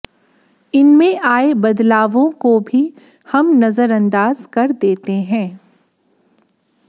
इनमें आए बदलावों को भी हम नजर अंदाज कर देते हैं